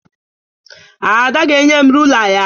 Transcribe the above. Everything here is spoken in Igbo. Ada ga-enye m rula ya